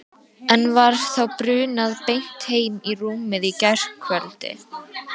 En var þá brunað beint heim í rúmið í gærkvöld?